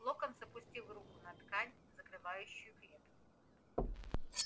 локонс опустил руку на ткань закрывающую клетку